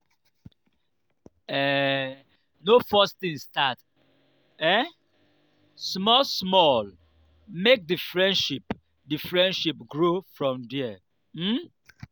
um no force things start um small small make di friendship di friendship grow from there um